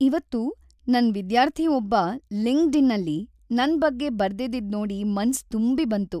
ಇವತ್ತು ನನ್ ವಿದ್ಯಾರ್ಥಿ ಒಬ್ಬ ಲಿಂಕ್ಡ್ಇನ್ನಲ್ಲಿ ನನ್ ಬಗ್ಗೆ ಬರ್ದಿದ್ದಿದ್‌ ನೋಡಿ ಮನ್ಸು ತುಂಬಿ ಬಂತು.